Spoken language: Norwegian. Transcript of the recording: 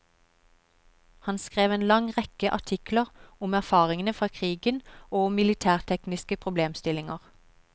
Han skrev en lang rekke artikler om erfaringene fra krigen og om militærtekniske problemstillinger.